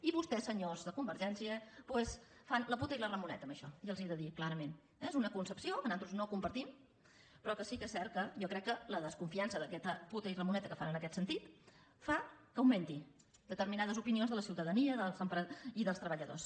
i vostès senyors de convergència doncs fan la puta i la ramoneta en això i els ho he de dir clarament eh és una concepció que nosaltres no compartim però sí que és cert que jo crec que la desconfiança d’aquestes puta i ramoneta que fan en aquest sentit fa que augmentin determinades opinions de la ciutadania i dels treballadors